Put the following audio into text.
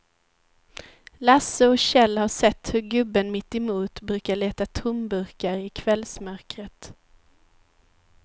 Lasse och Kjell har sett hur gubben mittemot brukar leta tomburkar i kvällsmörkret.